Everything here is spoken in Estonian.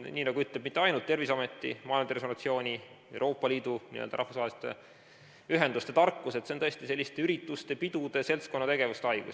ütle mitte ainult Terviseameti, vaid Maailma Terviseorganisatsiooni, Euroopa Liidu, n-ö rahvusvaheliste ühenduste tarkus, et see on tõesti selliste ürituste, pidude, seltskonnategevuse haigus.